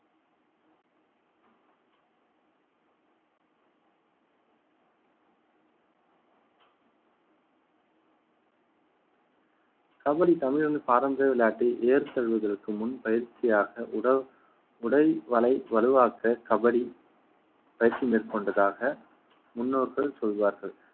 கபடி தமிழனின் பாரம்பரிய விளையாட்டை ஏர் தழுவுவதற்கு முன் பயிற்சியாக உடல் உடை வளை வலுவாக்க கபடி பயிற்சி மேற்கொண்டதாக முன்னோர்கள் சொல்வார்கள்